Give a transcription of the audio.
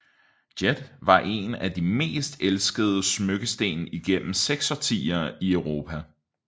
Jet var en af de mest elskede smykkesten igennem 6 årtier i Europa